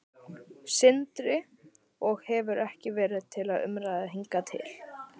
Sindri: Og hefur ekki verið til umræðu hingað til?